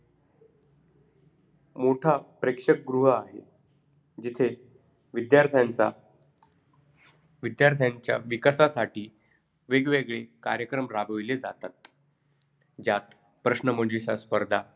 दोन चंद्रावर एक उडी मारताच तरंगत राहतात कारण शिक्षक अशा स्थितीत शिकवतात विद्यार्थ्याचे होऊणे म्हणून तरंगतात चंद्रावर गेल्यावर गुरुत्वाकर्षण शक्ती कमी होते.